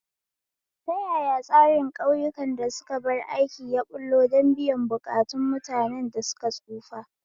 Ta yaya tsarin ƙauyukan da suka bar aiki ya ɓullo don biyan buƙatun mutanen da suka tsufa?